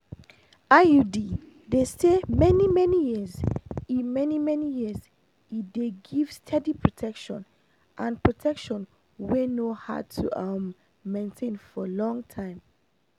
iud dey stay many-many years e many-many years e dey give steady protection and protection wey no hard to um maintain for long time.